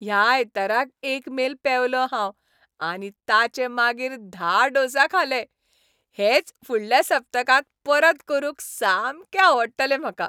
ह्या आयताराक एक मेल पेंवलों हांव आनी ताचे मागीर धा डोसा खाले. हेंच फुडल्या सप्तकांत परत करूंक सामकें आवडटलें म्हाका.